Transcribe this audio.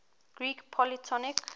greek polytonic